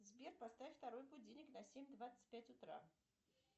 сбер поставь второй будильник на семь двадцать пять утра